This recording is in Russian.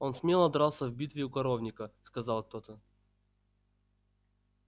он смело дрался в битве у коровника сказал кто-то